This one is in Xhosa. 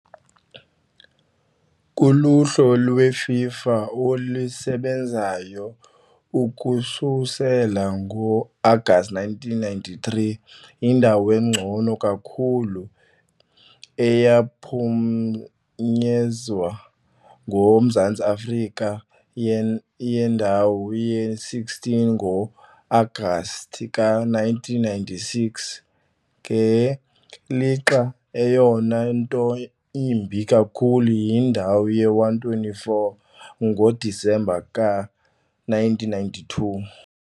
Kuluhlu lweFIFA olusebenzayo ukususela ngo-Agasti 1993, yindawo engcono kakhulu eyaphunyezwa nguMzantsi Afrika yindawo ye-16 ngo-Agasti ka -1996, ngelixa eyona nto imbi kakhulu yindawo ye-124 ngoDisemba ka -1992 .